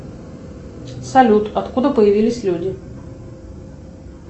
салют откуда появились люди